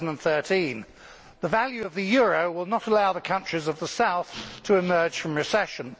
2013. The value of the euro will not allow the countries of the south to emerge from recession.